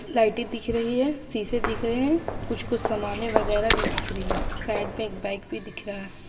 लाइटे दिख रही है शीशे दिख रहे है कुछ-कुछ समाने वगेरे भी दिख रही है साइड में एक बाइक भी दिख रहा --